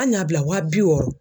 An y'a bila wa bi wɔɔrɔ